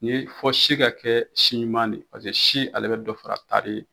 Ni fo si ka kɛ si ɲuma de ye paseke si ale bɛ dɔ fara taari